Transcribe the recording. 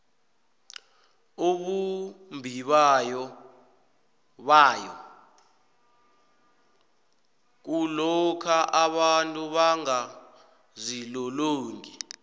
ubumbibayo bayo kulokha abantu bangazilolongi